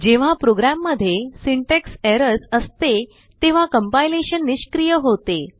जेव्हा प्रोग्राममध्येsyntax errorsअसते तेव्हाCompilationनिष्क्रिय होते